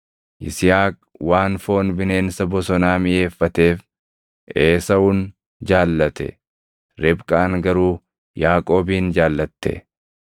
Yisihaaq waan foon bineensa bosonaa miʼeeffateef Esaawun jaallate; Ribqaan garuu Yaaqoobin jaallatte.